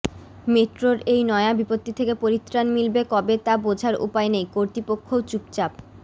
মেট্রোর এই নয়া বিপত্তি থেকে পরিত্রাণ মিলবে কবে তা বোঝার উপায় নেই কর্তৃপক্ষও চুপচাপ